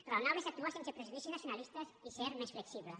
raonable és actuar sense prejudicis nacionalistes i ser més flexible